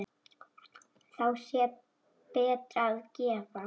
Þá sé betra að gefa.